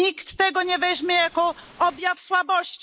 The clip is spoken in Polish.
Nikt tego nie weźmie za objaw słabości.